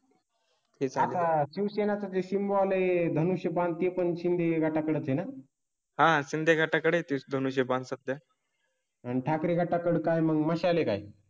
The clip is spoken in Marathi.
आता शिवसेना चे ते शिमला आले धनुष्यबाण ती पण शिन्दे घाटाकडे आहे ना? हा शिन्दे घाटाकडे हे बात सत्य आहे आणि ठाकरे घाटा कड काय मसाले काही.